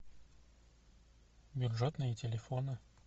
бюджетные телефоны